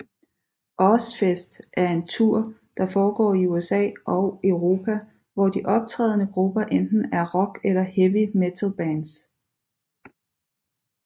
Ozzfest er en tour der foregår i USA og Europa hvor de optrædende grupper enten er rock eller heavy metalbands